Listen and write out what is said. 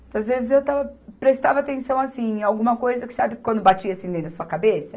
Muitas vezes eu estava, prestava atenção assim, em alguma coisa que, sabe, quando batia assim dentro da sua cabeça?